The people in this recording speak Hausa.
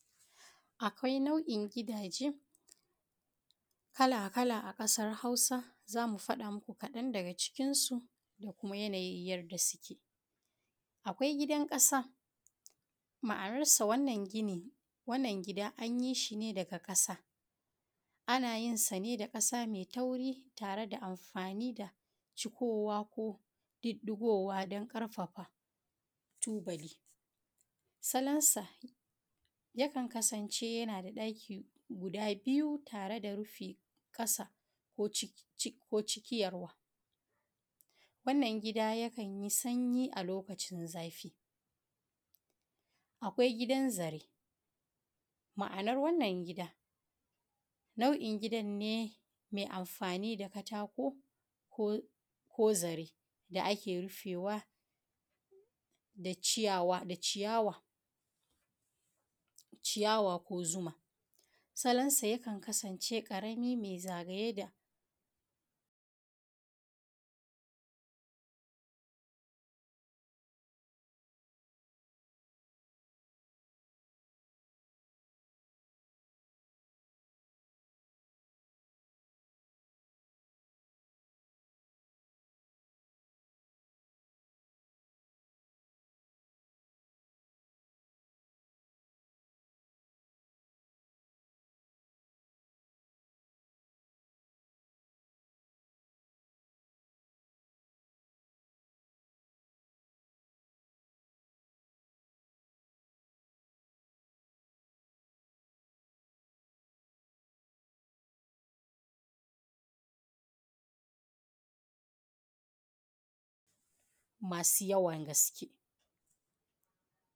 akwai nau’in gidaje kala kala a kasar hausa zan fada muku kadan daga cikn su, da kuma yanayin yanda suke akwai gidan kasa, ma’anar sa wannan gini wannan gida anyisa ne daga kasa anayin sane da kasa mai tauri tare da amfani da cukowa ko duddugowa dan karfafa tubali. salon sa yakan kasan ce ϳana daki guda biyu tareda rufe ˋkasa ko ciki ϳarwa wannan gida ϳa kanϳiˋ sanϳiˋ a lokacin zafiˋ, akwai gidan zare ma’anar wannan gida na’in gidan ne mai amfani da katako ko zar da ake rufewa da ciyawa ko zuma salon sa yakan kasan ce zagaye da masu ϳawan gaske.